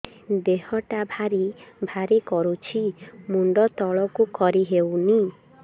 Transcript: ଦେହଟା ଭାରି ଭାରି କରୁଛି ମୁଣ୍ଡ ତଳକୁ କରି ହେଉନି